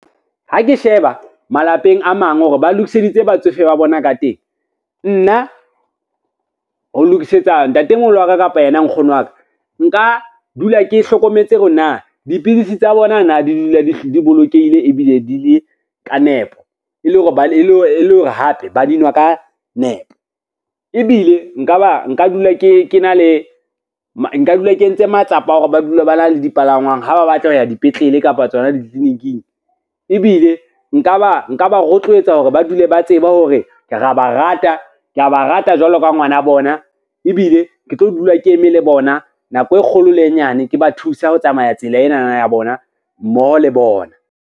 Ha ke sheba malapeng a mang hore ba lokiseditse batsofe ba bona ka teng, nna ho lokisetsa ntatemoholo wa ka kapa yena nkgono wa ka, nka dula ke hlokometse hore na dipidisi tsa bona na di dula di bolokehile ebile di le ka nepo, e le hore e le hore hape ba di nowa ka nepo. Ebile nka dula ke entse matsapa a hore ba dule ba na le dipalangwang ha ba batla ho ya dipetlele kapa tsona ditliliniking, ebile nka ba rotloetsa hore ba dule ba tsebe hore kea ba rata jwalo ka ngwana bona, ebile ke tlo dula ke eme le bona nako e kgolo le e nyane, ke ba thusa ho tsamaya tsela enana ya bona mmoho le bona.